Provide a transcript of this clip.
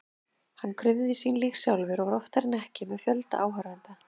Hann krufði sín lík sjálfur og var oftar en ekki með fjölda áhorfenda.